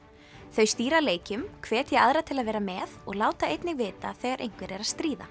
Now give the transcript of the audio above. þau stýra leikjum hvetja aðra til að vera með og láta einnig vita þegar einhver er að stríða